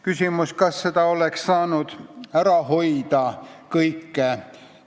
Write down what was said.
Kas seda kõike oleks saanud ära hoida?